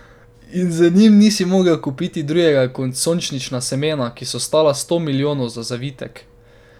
In z njimi nisi mogel kupiti drugega kot sončnična semena, ki so stala sto milijonov za zavitek.